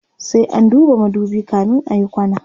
sai an duba madubi kamin ayi kwana